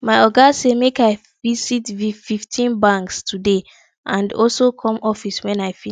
my oga say make i visit fifteen banks today and also come office wen i finish